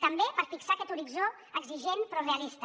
també per fixar aquest horitzó exigent però realista